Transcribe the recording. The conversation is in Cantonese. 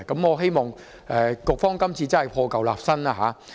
我希望局方今次真的可以破舊立新。